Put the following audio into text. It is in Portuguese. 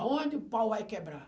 Aonde o pau vai quebrar?